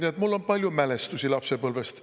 Aga mul on palju mälestusi lapsepõlvest.